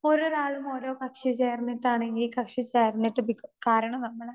Speaker 2 ഒരോരാളും ഓരോ കക്ഷി ചേർന്നിട്ട് ആണെങ്കിൽ കക്ഷി ശരണ്യതിപ്പിക്കും. കാരണം, നമ്മടെ